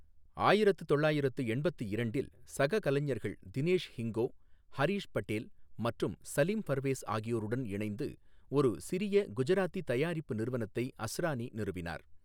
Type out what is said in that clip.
ஆயிரத்து தொள்ளயிரத்து எண்பத்து இரண்டில், சக கலைஞர்கள் தினேஷ் ஹிங்கோ, ஹரிஷ் பட்டேல் மற்றும் சலீம் பர்வேஸ் ஆகியோருடன் இணைந்து ஒரு சிறிய குஜராத்தி தயாரிப்பு நிறுவனத்தை அஸ்ரானி நிறுவினார்.